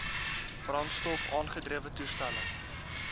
brandstof aangedrewe toestelle